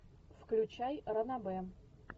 включай ранобэ